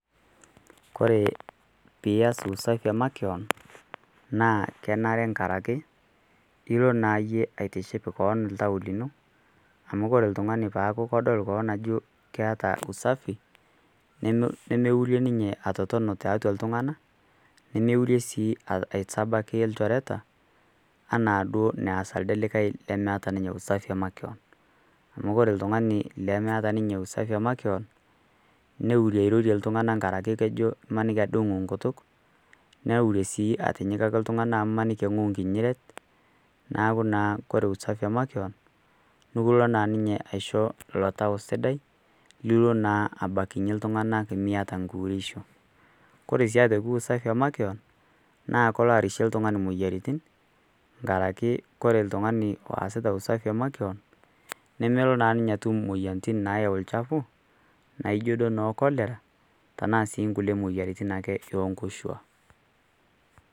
koore piyas usafi emakeon naa kenere nkarakee ilo naa yie aitiship koon ltau linoo amu kore ltungani peaku kodol koon ajo keata usafii nemeurie ninye atotona taatua ltungana nemeurie sii aisabaki lchoreta ana duo neas aldee likai lemeata ninye usafi emakeon amu kore ltungani lemeata ninye usafi emakeon neurie airorie ltungana ngarake kejo imaniki adee enguu nkutuk neurie sii atinyikaki ltungana amu imaniki enghou nkinyiret naaku naa kore usafi emakeon nukuloo naa ninye aisho lo tau sidai liloo naa abakinye ltungana imiata nkuuresho kore sii otoki usafi emakeon naa kolo arishie ltungani moyaritin ngarake kore ltungani loasita usafi emakeon nemelo naa ninye atum moyanitin naayeu lchafuu naijo iduo noo cholera tanaa sii nkulie moyaritin ee nkoshua